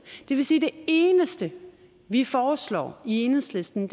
det vil sige at det eneste vi foreslår i enhedslisten